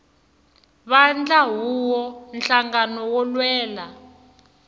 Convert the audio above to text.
vandla huvo nhlangano wo lwela